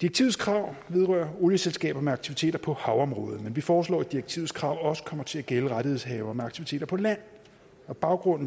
direktivets krav vedrører olieselskaber med aktiviteter på havområdet men vi foreslår at direktivets krav også kommer til at gælde rettighedshavere med aktiviteter på land og baggrunden